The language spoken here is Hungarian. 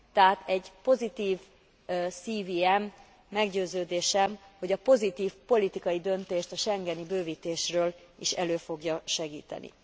Tehát egy pozitív CVM, meggyőződésem, hogy a pozitív politikai döntést a schengeni bővítésről is elő fogja segíteni.